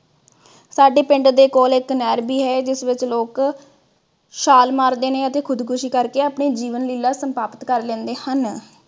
ਸਾਡੇ ਪਿੰਡ ਦੇ ਕੋਲ ਇਕ ਨਹਿਰ ਵੀ ਹੈ ਜਿਸ ਵਿਚ ਲੋਕ ਛਾਲ ਮਾਰਦੇ ਨੇ ਅਤੇ ਖੁਦਕੁਸ਼ੀ ਕਰਕੇ ਆਪਣੀ ਜੀਵਨ ਲੀਲਾ ਸਮਾਪਤ ਕਰ ਲੈਦੇ ਹਨ।